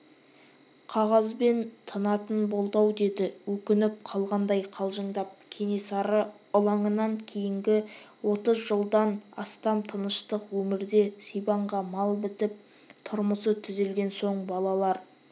қағазбен тынатын болды-ау деді өкініп қалғандай қалжыңдап кенесары ылаңынан кейінгі отыз жылдан астам тыныштық өмірде сибанға мал бітіп тұрмысы түзелген соң балалар